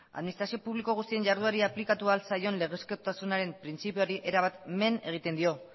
administrazio publiko guztien jarduerari aplikatu ahal zaion legezkotasunaren printzipioari erabat men egiten dio